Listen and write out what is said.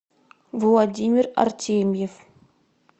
владимир артемьев